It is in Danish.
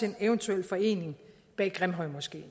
en eventuel forening bag grimhøjmoskeen